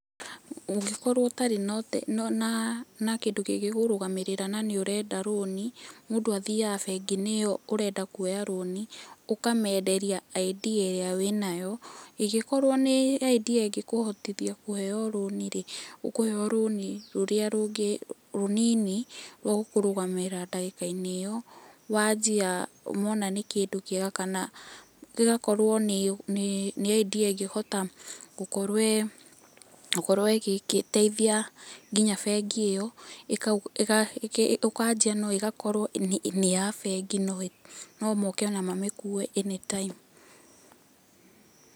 Ũngĩkorwo ũtarĩ na kĩndũ kĩngĩkũrũgamĩrĩra na nĩ ũrenda rũni, mũndũ athiaga bengi-inĩ ĩyo ũrenda kuoya rũni, ũkamenderia idea ĩrĩa wĩnayo. Ĩngĩ korwo nĩ idea ĩngĩkũhotithia kũheo rũni rĩ, ũkũheo rũni rũrĩa rũngĩ, rũnini rwa gũkũrũgamĩrĩra ndagĩka-inĩ ĩyo. Wanjia mona nĩ kĩndũ kĩega kana gĩgakorwo nĩ idea ĩngĩhota, gũkorwo, gũkorwo ĩgĩteithia nginya bengi ĩyo, ũkanjia no ĩgakorwo nĩ ya bengi no moke ona mamĩkue anytime.